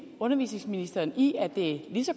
undervisningsministeren i at det er lige så